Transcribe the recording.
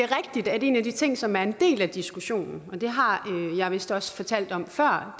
er rigtigt at en af de ting som er en del af diskussionen og det har jeg vist også fortalt om før